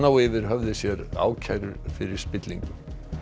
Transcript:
á yfir höfði sér ákærur fyrir spillingu